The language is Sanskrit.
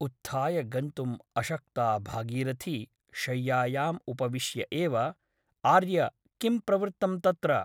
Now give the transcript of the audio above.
उत्थाय गन्तुम् अशक्ता भागीरथी शय्यायाम् उपविश्य एव ' आर्य किं प्रवृत्तं तत्र ?